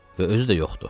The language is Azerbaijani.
Və özü də yoxdu.